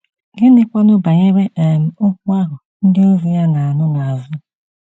Gịnịkwanụ banyere um okwu ahụ ndị ozi ya na-anụ n’azụ?